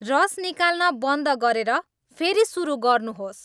रस निकाल्न बन्द गरेर फेरि सुरु गर्नुहोस्